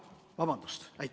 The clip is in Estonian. Vabandust!